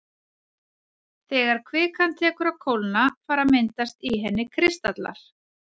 Þegar kvikan tekur að kólna fara að myndast í henni kristallar.